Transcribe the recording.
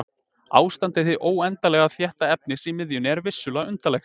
Ástand hins óendanlega þétta efnis í miðjunni er vissulega undarlegt.